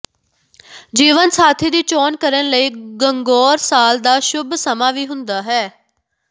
ਜੀਵਨ ਸਾਥੀ ਦੀ ਚੋਣ ਕਰਨ ਲਈ ਗੰਗੌਰ ਸਾਲ ਦਾ ਸ਼ੁਭ ਸਮਾਂ ਵੀ ਹੁੰਦਾ ਹੈ